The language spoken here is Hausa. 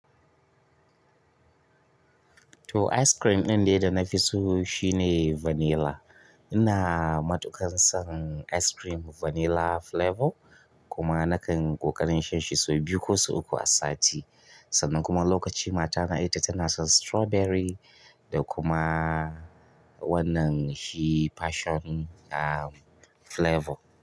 To ice cream ɗin de da nafi so shine vanilla. Ina matuƙan son ice cream vanilla flavor kuma nakan ƙoƙarin shan shi sau biyu ko sau uku a sati. Sannan kuma wa lokacin matana ita tana son strawberry da kuma wannan shi passion um flavor.